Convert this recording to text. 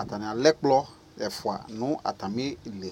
Atani ɛlɛ ɛkplɔ ɛfʋa na ta mi li